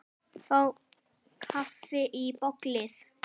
Fá kaffi í bólið.